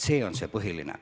See on see põhiline.